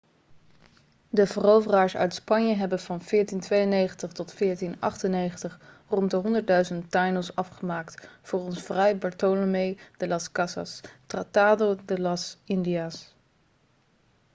de veroveraars uit spanje hebben van 1492 tot 1498 rond de 100.000 taínos afgemaakt volgens fray bartolomé de las casas tratado de las indias